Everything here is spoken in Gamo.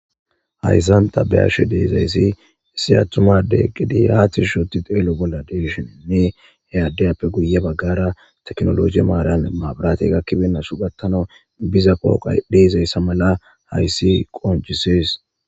Hayssan tabeyashe deezayssi issi attumade gidi haatish huti xeelo bolla deshininne eyaaddeyappe guye baggara teknologi maaran maabirati gakkibennasu gattano biza qooqa deezayssa mala hayssi qoncisees.